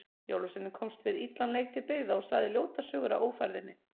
Jólasveinninn komst við illan leik til byggða og sagði ljótar sögur af ófærðinni.